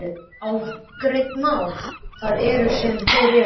Óafgreidd mál, það er það sem þeir eru.